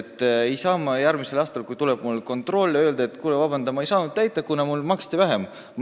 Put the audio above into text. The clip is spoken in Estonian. Ma ei saa järgmisel aastal, kui minu juurde tuleb kontroll, öelda, et kuule, palun vabandust, ma ei saanud nõudeid täita, kuna mulle maksti vähem toetust.